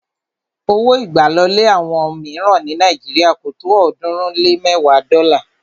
Owó ìgbàlọlé àwọn ilé míìràn ní Nàíjírìà kò tó ọ̀ọ́dúnrún lé mẹ́ẹ̀wa dọ́là